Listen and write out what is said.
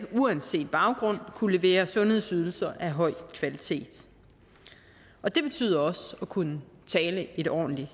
uanset baggrund kunne levere sundhedsydelser af høj kvalitet og det betyder også at kunne tale et ordentligt